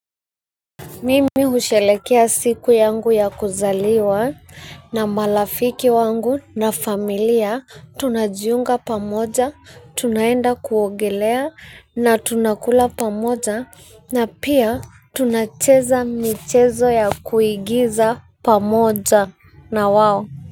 Mimi husherehekea siku yangu ya kuzaliwa na marafiki wangu na familia tunajiunga pamoja, tunaenda kuogelea na tunakula pamoja na pia tunacheza michezo ya kuigiza pamoja na wao.